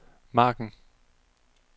margen